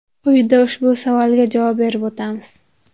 Quyida ushbu savolga javob berib o‘tamiz.